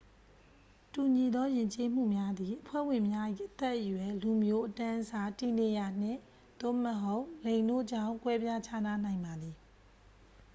တူညီသောယဉ်ကျေးမှုများသည် အဖွဲ့ဝင်များ၏ အသက်အရွယ်၊ လူမျိုး၊ အတန်းအစား၊ တည်နေရာ၊ နှင့်/သို့မဟုတ် လိင်တို့ကြောင့် ကွဲပြားခြားနားနိုင်ပါသည်။